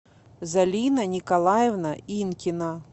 залина николаевна инкина